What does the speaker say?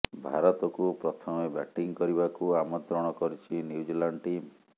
ଭାରତକୁ ପ୍ରଥମେ ବ୍ୟାଟିଂ କରିବାକୁ ଆମନ୍ତ୍ରଣ କରିଛି ନ୍ୟୁଜିଲାଣ୍ଡ ଟିମ୍